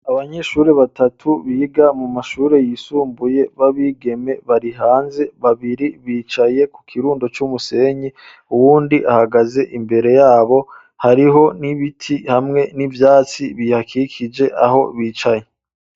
Abanyeshuri batatu biga mu mashuri yisumbuye babigeme bari hanze ,babiri bicaye ku kirundo c'umusenyi ,uwundi ahagaze imbere yabo hariho n'ibiti hamwe n'ibyatsi bihakikije aho bicaye.